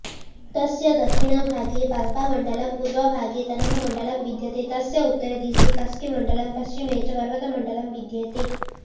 तस्य दक्षिणभागे पाल्पामण्डलम् पूर्वभागे तनहुँमण्डलम् विद्यते तस्य उत्तरदिशि कास्कीमण्डलम् पश्चिमे च पर्वतमण्डलम् विद्येते